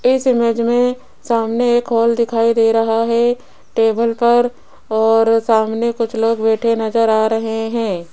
इस इमेज में सामने एक हाॅल दिखाई दे रहा है टेबल पर और सामने कुछ लोग बैठे नजर आ रहे हैं।